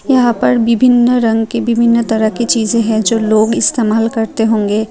यहां पर विभिन्न रंग के विभिन्न तरह के चीजें है जो लोग इस्तमाल करते होंगे।